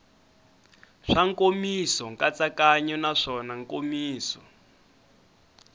swa nkomiso nkatsakanyo naswona nkomiso